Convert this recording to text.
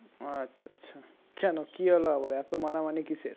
কেন কি হল আবার এত মানামানি কিসের